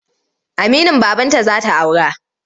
Aminin babanta za ta aura.